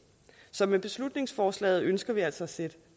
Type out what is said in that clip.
så med beslutningsforslaget ønsker vi altså at sætte